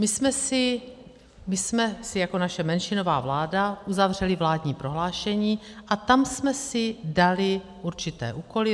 My jsme si jako naše menšinová vláda uzavřeli vládní prohlášení a tam jsme si dali určité úkoly.